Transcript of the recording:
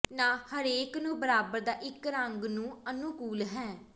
ਨਾ ਹਰੇਕ ਨੂੰ ਬਰਾਬਰ ਦਾ ਇੱਕ ਰੰਗ ਨੂੰ ਅਨੁਕੂਲ ਹੈ